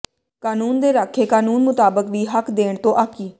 ਕਾਨੂੰਨ ਦੇ ਰਾਖੇ ਕਾਨੂੰਨ ਮੁਤਾਬਕ ਵੀ ਹੱਕ ਦੇਣ ਤੋਂ ਆਕੀ